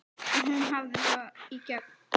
Og hún hafði það í gegn.